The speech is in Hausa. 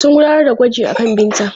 Sun gudanar da gwaji akan Binta.